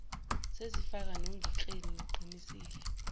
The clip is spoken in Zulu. sezifana nonongekleni ngiqinisile